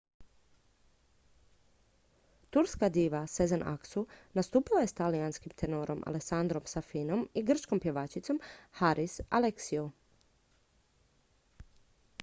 turska diva sezen aksu nastupila je s talijanskim tenorom alessandrom safinom i grčkom pjevačicom haris alexiou